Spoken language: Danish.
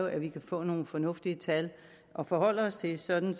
at vi kan få nogle fornuftige tal at forholde os til sådan